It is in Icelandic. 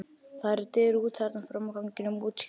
Það eru dyr út þarna frammi á ganginum- útskýrði